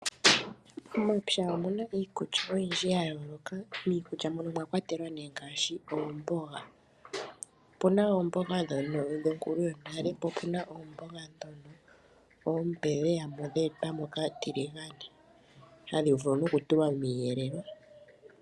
Momapya omuna iikulya oyindji ya yooloka, miikulya mono omwakwatelwa ngaashi oomboga, opuna oomboga ndhono ndhonkulu yonale po opuna oomboga oompe dha etwamo kaatiligane hadhivulu noku tulwa miiyelelwa.